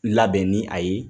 Labɛn ni a ye